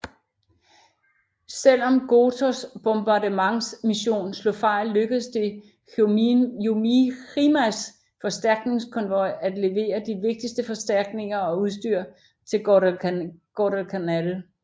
Selv om Gotōs bombardmentsmission slog fejl lykkedes det Jojimas forstærkningskonvoj at levere de vigtige forstærkninger og udstyr til Guadalcanal